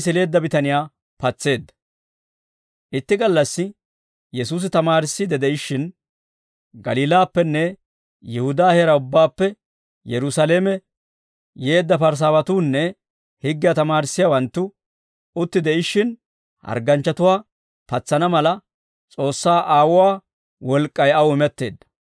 Itti gallassi Yesuusi tamaarissiidde de'ishshin Galiilaappenne Yihudaa heeraa ubbaappe, Yerusaalame yeedda Parisaawatuunne higgiyaa tamaarissiyaawanttu utti de'ishshin hargganchchatuwaa patsana mala S'oossaa Aawuwaa wolk'k'ay aw imetteedda.